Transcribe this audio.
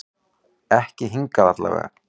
Ekki hingað til allavega.